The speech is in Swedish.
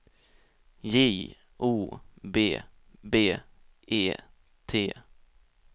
J O B B E T